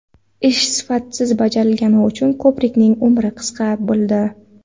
Ish sifatsiz bajarilgani uchun ko‘prikning ‘umri qisqa’ bo‘ldi.